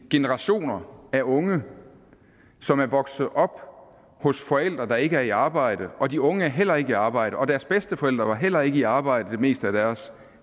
generationer af unge som er vokset op hos forældre der ikke er i arbejde og de unge er heller ikke i arbejde og deres bedsteforældre var heller ikke i arbejde det meste af deres